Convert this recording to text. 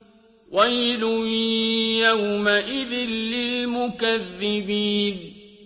وَيْلٌ يَوْمَئِذٍ لِّلْمُكَذِّبِينَ